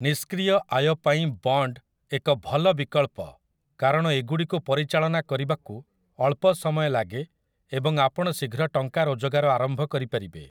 ନିଷ୍କ୍ରିୟ ଆୟ ପାଇଁ 'ବଣ୍ଡ୍' ଏକ ଭଲ ବିକଳ୍ପ କାରଣ ଏଗୁଡ଼ିକୁ ପରିଚାଳନା କରିବାକୁ ଅଳ୍ପ ସମୟ ଲାଗେ ଏବଂ ଆପଣ ଶୀଘ୍ର ଟଙ୍କା ରୋଜଗାର ଆରମ୍ଭ କରିପାରିବେ ।